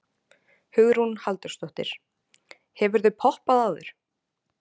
Hugrún Halldórsdóttir: Hefurðu poppað áður?